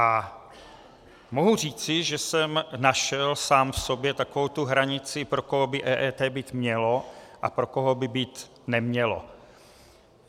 A mohu říci, že jsem našel sám v sobě takovou tu hranici, pro koho by EET být mělo a pro koho by být nemělo.